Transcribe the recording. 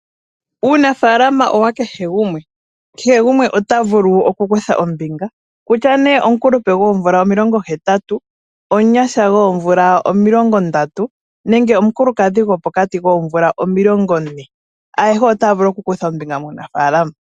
Uunafalama owa kehe gumwe, kehe gumwe ota vulu oku kutha ombinga kutya ne omukulupe gwoomvula omilongo hetatu, omunyasha gwoomvula omilongo ndatu nenge omukulukadhi gwopokati koomvula omilongo ne ayehe otaya vulu oku kutha po muunafalama.